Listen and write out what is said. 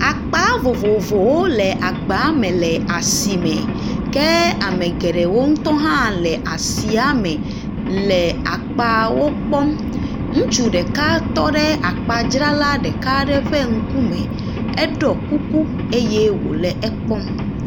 Akpa vovovowo le agba me le asime ke ame geɖewo ŋutɔ hã le asia me le akpawo kpɔm. Ŋutsu ɖeka tɔ ɖe akpadzrala ɖeka ƒe ŋkume. Eɖɔ kuku eye wole ekpɔm.